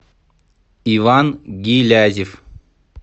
иван гилязев